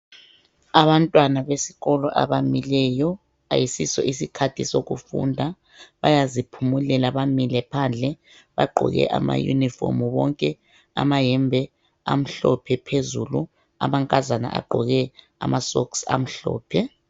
Abantwana besikolo abamileyo ayisiso sikhathi sokufunda bayaziphumulela bamile phandle bagqoke ama uniform bonke ma yembe amhlophe phezulu amankazana agqoke ama socks amhlophe.